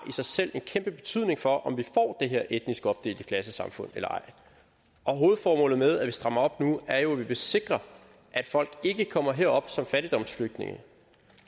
en kæmpe betydning for om vi får det her etnisk opdelte klassesamfund eller ej hovedformålet med at vi strammer op nu er jo at vi vil sikre at folk ikke kommer herop som fattigdomsflygtninge